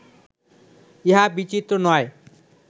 ইহা বিচিত্র নয়